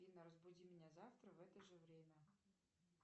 афина разбуди меня завтра в это же время